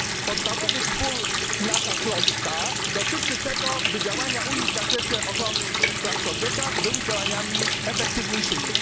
Podstawowy spór i nasza troska dotyczy tego, by działania Unii w zakresie ochrony praw człowieka były działaniami efektywniejszymi.